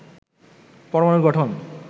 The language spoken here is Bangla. পরমানুর গঠন